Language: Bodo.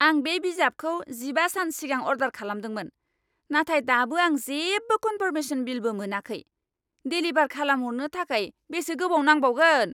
आं बे बिजाबखौ जिबा सान सिगां अर्डार खालामदोंमोन, नाथाय दाबो आं जेबो कन्फार्मेशन मेलबो मोनाखै! डेलिभार खालामहरनो थाखाय बेसे गोबाव नांबावगोन?